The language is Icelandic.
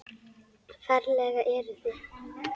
Ferlega eruð þið